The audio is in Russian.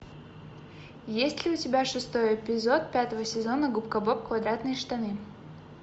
есть ли у тебя шестой эпизод пятого сезона губка боб квадратные штаны